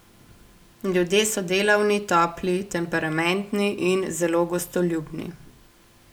Ljudje so delavni, topli, temperamentni in zelo gostoljubni.